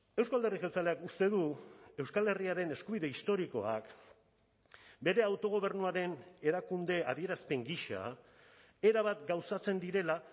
euzko alderdi jeltzaleak uste du euskal herriaren eskubide historikoak bere autogobernuaren erakunde adierazpen gisa erabat gauzatzen direla